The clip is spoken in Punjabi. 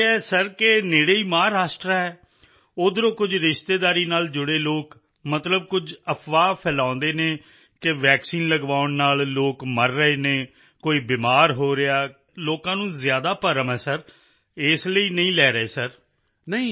ਕਿਉਂਕਿ ਏਦਾਂ ਹੈ ਸਰ ਕਿ ਨੇੜੇ ਹੀ ਮਹਾਰਾਸ਼ਟਰ ਹੈ ਉੱਧਰੋਂ ਕੁਝ ਰਿਸ਼ਤੇਦਾਰੀ ਨਾਲ ਜੁੜੇ ਲੋਕ ਮਤਲਬ ਕੁਝ ਅਫਵਾਹ ਫੈਲਾਉਂਦੇ ਹਨ ਕਿ ਵੈਕਸੀਨ ਲਗਵਾਉਣ ਨਾਲ ਲੋਕ ਮਰ ਰਹੇ ਹਨ ਕੋਈ ਬਿਮਾਰ ਹੋ ਰਿਹਾ ਹੈ ਸਰ ਲੋਕਾਂ ਨੂੰ ਜ਼ਿਆਦਾ ਭਰਮ ਹੈ ਸਰ ਇਸ ਲਈ ਨਹੀਂ ਲੈ ਰਹੇ ਹਨ ਸਰ